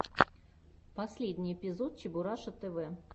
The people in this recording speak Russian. последний эпизод чебураша тв